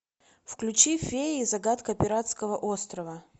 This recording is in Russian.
включи феи и загадка пиратского острова